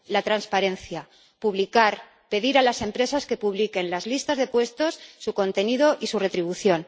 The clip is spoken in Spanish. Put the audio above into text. La transparencia, publicar, pedir a las empresas que publiquen las listas de puestos, su contenido y su retribución.